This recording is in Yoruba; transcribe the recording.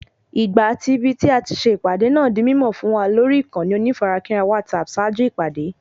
Ìgbà àti ibití ati se ìpàdé náà di mímọ̀ fún wa lórí ìkànnì onífarakínra WhatsApp ṣáájú ìpàdé